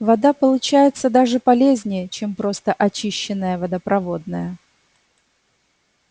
вода получается даже полезнее чем просто очищенная водопроводная